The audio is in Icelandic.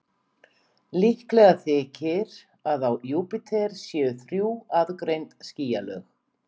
Líklegt þykir að á Júpíter séu þrjú aðgreind skýjalög.